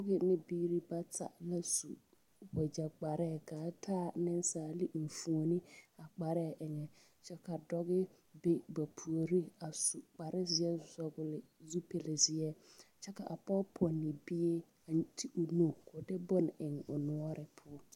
Bibiiri bata la su wagyɛ kparɛɛ kaa taa niŋsaali eŋfuone a kparɛɛ eŋɛ kyɛ ka dɔge be ba puoriŋ su kpare zeɛ kyɛ vɔgle zupil zeɛ kyɛ ka a pɔge pɔnne bie a ti o nu ko de bon eŋ o noɔre poɔ.